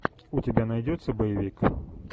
у тебя найдется боевик